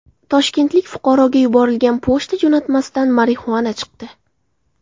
Toshkentlik fuqaroga yuborilgan pochta jo‘natmasidan marixuana chiqdi.